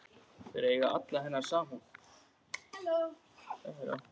Það eigi alla hennar samúð.